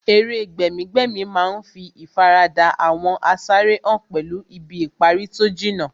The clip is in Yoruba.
Eré gbẹ̀mí-gbẹ̀mí má ń fí ìfaradà àwọn asáré hàn pẹ̀lú ibi ìparí tó jìnnà